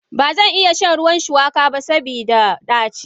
Bazan iya shan ruwan shuwaka ba saboda daci.